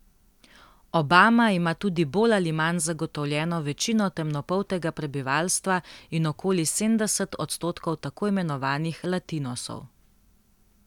Obama ima tudi bolj ali manj zagotovljeno večino temnopoltega prebivalstva in okoli sedemdeset odstotkov tako imenovanih latinosov.